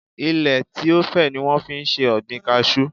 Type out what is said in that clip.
Ilẹ tí ó fẹ̀ ni wọ́n fi ń se ọ̀gbìn kajú.